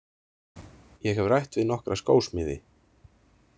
Ég hef rætt við nokkra skósmiði.